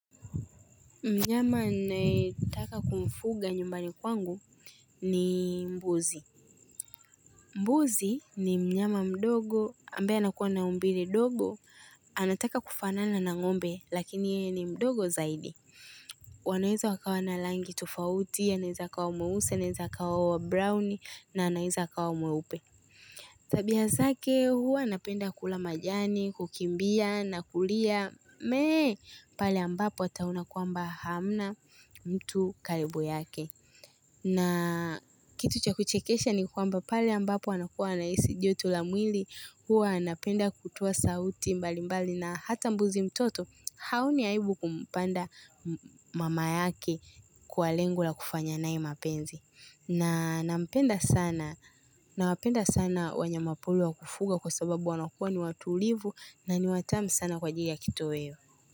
Mnyama ninayetaka kumfuga nyumbani kwangu ni mbuzi. Mbuzi ni mnyama mdogo ambaye anakuwa na umbile dogo. Anataka kufanana na ng'ombe lakini ye ni mdogo zaidi. Wanaeza wakawa na langi tufauti ya neza kawa mweusi, neza kawa wabrauni na anaeza akawa mweupe. Tabia zake huwa anapenda kula majani, kukimbia na kulia. Mee pali ambapo ataona kwamba hamna mtu kalibu yake na kitu cha kuchekesha ni kwamba pale ambapo anakuwa anahisi joto la mwili, huwa anapenda kutoa sauti mbali mbali na hata mbuzi mtoto haoni aibu kumpanda mama yake kwa lengo la kufanya naye mapenzi na nampenda sana Nawapenda sana wanyama wapori wa kufuga kwa sababu wanakuwa ni watulivu na niwatamu sana kwa ajili ya kitoweo.